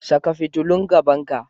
Saka fitulun gaban ka.